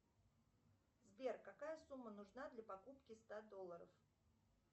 сбер какая сумма нужна для покупки ста долларов